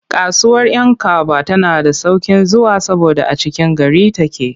Kasuwar 'Yankaba tana da sauƙin zuwa saboda a cikin gari take.